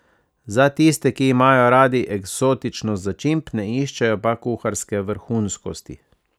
Za tiste, ki imajo radi eksotičnost začimb, ne iščejo pa kuharske vrhunskosti.